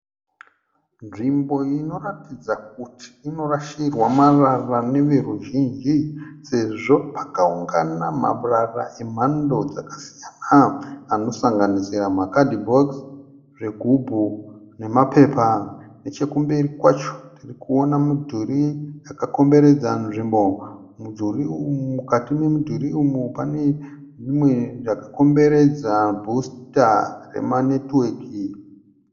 Nzvimbo inoratidza kuti inorashirwa marara neveruzhinji sezvo pakaungane marara emhando dzakasiyana anosanganisira makadhibokisi , zvigubhu nemapepa. Nechekumberi kwacho tikuona mudhuri wakakomberedza nzvimbo mukati memudhuri uyu pane umwe wakakomberedzwa bhusita rema netiweki .